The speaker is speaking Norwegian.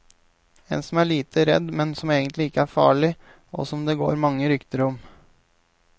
En som alle er litt redd, men som egentlig ikke er farlig, og som det går mange rykter om.